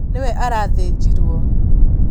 Nĩwe arathĩnjirwo